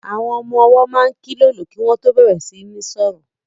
Àwọn ọmọ-ọwọ́ máa kílòlò kí wọ́n tó bẹ̀rẹ̀ sí ní sọ̀rọ̀